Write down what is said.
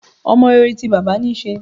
Ọmọ rere ti bàbá níí ṣe.